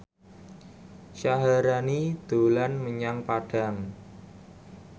Syaharani dolan menyang Padang